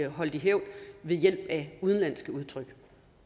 holde i hævd ved hjælp af udenlandske udtryk